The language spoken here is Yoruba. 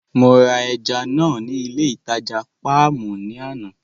Mo ra ẹja náà ní ilé ìtajà Páàmù ní àná.